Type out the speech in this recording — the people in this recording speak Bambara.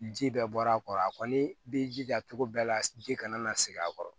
Ji bɛɛ bɔra a kɔrɔ a kɔni b'i jija cogo bɛɛ la ji kana na segin a kɔrɔ